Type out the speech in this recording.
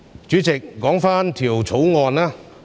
主席，說回《條例草案》。